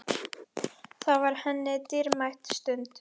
Það var henni dýrmæt stund.